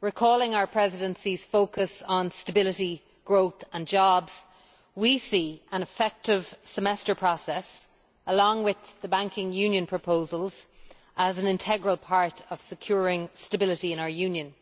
Recalling our Presidency's focus on stability, growth and jobs, we see an effective Semester process, along with the banking union proposals, as an integral part of securing stability in our Union.